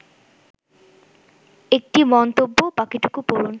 ১টি মন্তব্য বাকিটুকু পড়ুন